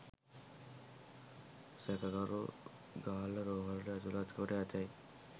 සැකකරු ගාල්ල රෝහලට ඇතුලත් කොට ඇතැයි